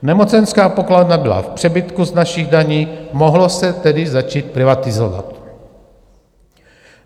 Nemocenská pokladna byla v přebytku z našich daní, mohlo se tedy začít privatizovat.